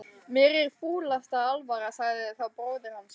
Mér er fúlasta alvara, sagði þá bróðir hans.